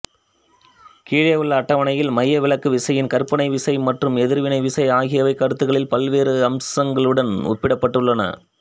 கீழே உள்ள அட்டவணையில் மையவிலக்கு விசையின் கற்பனை விசை மற்றும் எதிர்வினை விசை ஆகியவை கருத்துகளின் பல்வேறு அம்சங்களுடன் ஒப்பிடப்பட்டுள்ளன